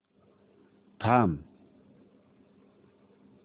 थांब